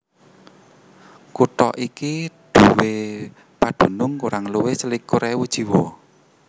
Kutha iki nduwé pedunung kurang luwih selikur ewu jiwa